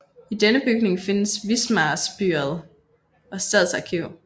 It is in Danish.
I denne bygning findes Wismars byret og stadsarkiv